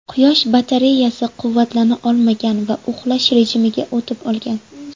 Quyosh batareyasi quvvatlana olmagan va uxlash rejimiga o‘tib qolgan.